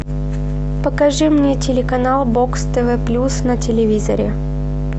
покажи мне телеканал бокс тв плюс на телевизоре